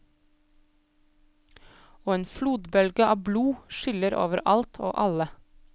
Og en flodbølge av blod skyller over alt og alle.